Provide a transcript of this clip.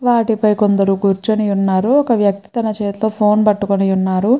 వాటిపై కొందరు కూర్చుని ఉన్నారు ఒక వ్యక్తి తన చేతిలో ఫోన్ పట్టుకొని ఉన్నారు.